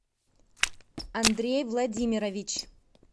андрей владимирович